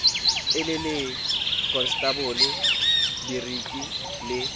e le lekonstabole boriki le